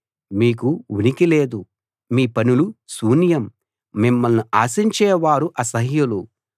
మీకు ఉనికి లేదు మీ పనులు శూన్యం మిమ్మల్ని ఆశించేవారు అసహ్యులు